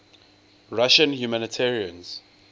russian humanitarians